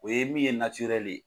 O ye min ye ye.